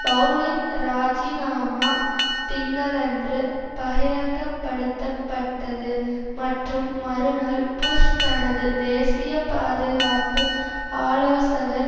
பெளலின் ராஜிநாமா திங்களன்று பகிரங்கப்படுத்தப்பட்டது மற்றும் மறுநாள் புஷ் தனது தேசிய பாதுகாப்பு ஆலோசகர்